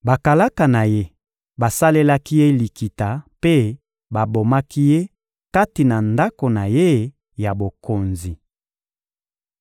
Bakalaka na ye basalelaki ye likita mpe babomaki ye kati na ndako na ye ya bokonzi.